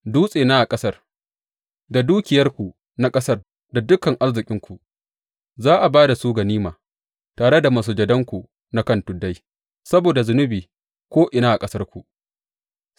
Dutsena a ƙasar da dukiyarku na ƙasar da dukan arzikinku za a ba da su ganima, tare da masujadanku na kan tuddai, saboda zunubi ko’ina a ƙasarku.